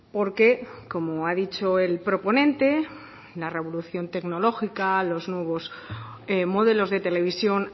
porque como ha dicho el proponente la revolución tecnológica los nuevos modelos de televisión